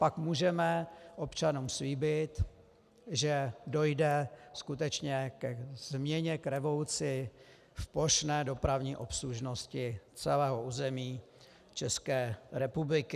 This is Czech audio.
Pak můžeme občanům slíbit, že dojde skutečně ke změně, k revoluci v plošné dopravní obslužnosti celého území České republiky.